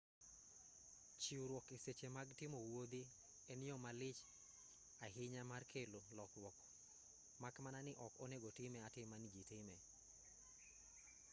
chiwruok e seche mag timo wuodhi en yo malich ahinya mar kelo lokruok mak mana ni ok onego time atima ni ji time